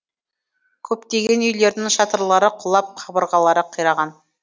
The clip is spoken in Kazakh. көптеген үйлердің шатырлары құлап қабырғалары қираған